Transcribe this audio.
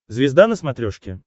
звезда на смотрешке